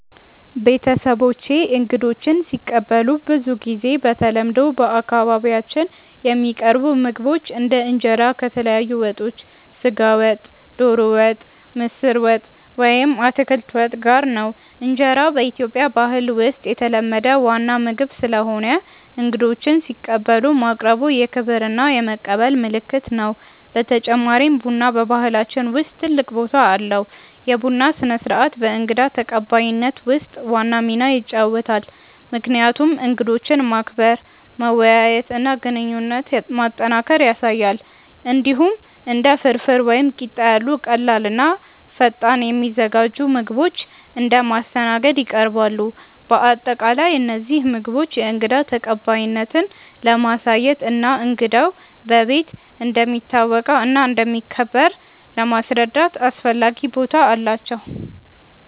ቤተሰቦቼ እንግዶችን ሲቀበሉ ብዙ ጊዜ በተለምዶ በአካባቢያችን የሚቀርቡ ምግቦች እንደ እንጀራ ከተለያዩ ወጦች (ስጋ ወጥ፣ ዶሮ ወጥ፣ ምስር ወጥ ወይም አትክልት ወጥ) ጋር ነው። እንጀራ በኢትዮጵያ ባህል ውስጥ የተለመደ ዋና ምግብ ስለሆነ እንግዶችን ሲቀበሉ ማቅረቡ የክብር እና የመቀበል ምልክት ነው። በተጨማሪም ቡና በባህላችን ውስጥ ትልቅ ቦታ አለው፤ የቡና ስነ-ስርዓት በእንግዳ ተቀባይነት ውስጥ ዋና ሚና ይጫወታል፣ ምክንያቱም እንግዶችን ማክበር፣ መወያየት እና ግንኙነት ማጠናከር ያሳያል። እንዲሁም እንደ ፍርፍር ወይም ቂጣ ያሉ ቀላል እና ፈጣን የሚዘጋጁ ምግቦች እንደ ማስተናገድ ይቀርባሉ። በአጠቃላይ እነዚህ ምግቦች የእንግዳ ተቀባይነትን ለማሳየት እና እንግዳው በቤት እንደሚታወቀው እና እንደሚከበር ለማስረዳት አስፈላጊ ቦታ አላቸው።